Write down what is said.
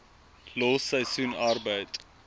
los seisoensarbeid